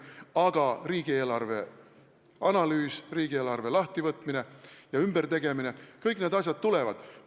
Aga riigieelarve analüüs, riigieelarve lahtivõtmine ja ümbertegemine – kõik need asjad tulevad.